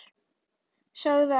Sögðu ekkert.